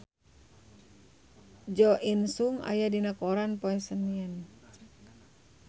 Jo In Sung aya dina koran poe Senen